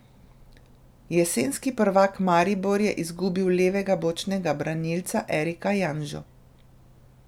Jesenski prvak Maribor je izgubil levega bočnega branilca Erika Janžo.